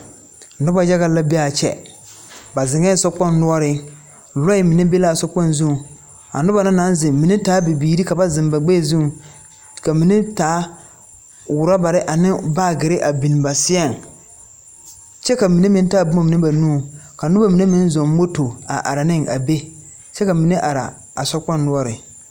Noba yaga la be a kyɛ, ba zeŋa sokpoŋ noɔre, lɔɛ mine be la a sokpɛŋ zuŋ a noba na naŋ zeŋ ba mine taayɛ bibiiri ka ba zeŋ ba gbeɛ zuŋ ka mine taa orɔbaare ane baagyere a biŋ ba seɛŋ kyɛ ka mine meŋ taa boma mine ba nu ka noba mine meŋ zo moto a are ne a be kyɛ ka mine are a sokpɛŋ noɔre.